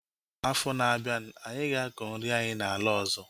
Afọ na-abịa, anyị ga-akọ nri anyị na ala ọzọ